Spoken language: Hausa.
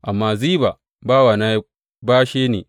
Amma Ziba bawana ya bashe ni.